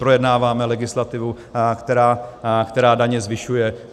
Projednáváme legislativu, která daně zvyšuje.